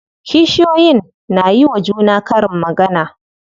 Kishiyoyin na yiwa juna karin magana.